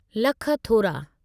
लख थोरा।